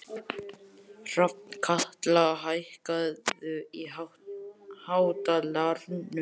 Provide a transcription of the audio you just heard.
Hrafnkatla, hækkaðu í hátalaranum.